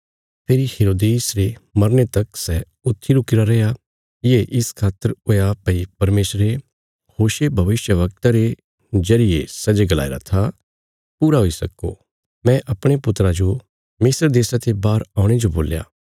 फेरी हेरोदेस रे मरने तक सै ऊत्थी रुकिरा रैया ये इस खातर हुया भई परमेशरे होशे भविष्यवक्ते रे जरिये सै जे गलाईरा था पूरा हुई सक्को मैं अपणे पुत्रा जो मिस्र देशा ते बाहर औणे जो बोल्या